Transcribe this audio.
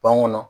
Bɔn kɔnɔ